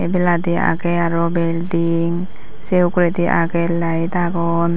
ebeladi agey aro belding sey uguredi agey laed agon.